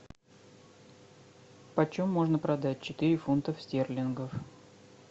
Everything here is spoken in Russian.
почем можно продать четыре фунтов стерлингов